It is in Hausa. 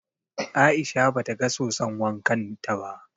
Aisha ba ta ga soson wankan ta ba